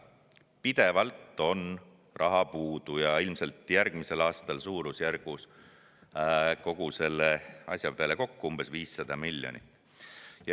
Pidevalt on raha puudu ja ilmselt on järgmisel aastal kogu selle asja peale kokku umbes 500 miljonit.